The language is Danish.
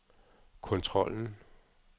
kontrollen